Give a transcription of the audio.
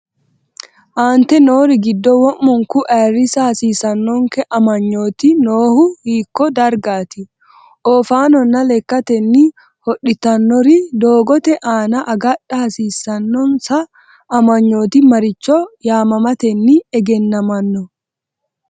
Aante noori giddo wo’munku ayirrisa hasiisannonke amanyooti noo- hu hiikko dargaati? Oofaanonna lekkatenni hodhitannori doogote aana agadha hasiissan- nonsa amanyooti maricho yaamamatenni egennamanno?